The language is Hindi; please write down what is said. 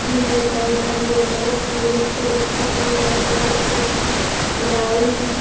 भी है पौधा भी है बहुत सुन्‍दर-सुन्‍दर फूल भी है और लाल कलर का ग्राउंड है।